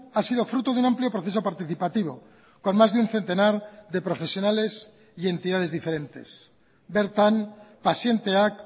ha sido fruto de un amplio proceso participativo con más de un centenar de profesionales y entidades diferentes bertan pazienteak